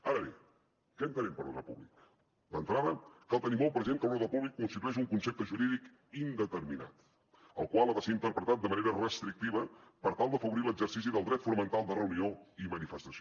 ara bé què entenem per ordre públic d’entrada cal tenir molt present que l’ordre públic constitueix un concepte jurídic indeterminat el qual ha de ser interpretat de manera restrictiva per tal d’afavorir l’exercici del dret fonamental de reunió i manifestació